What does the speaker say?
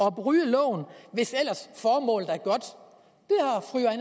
og bryde loven hvis ellers formålet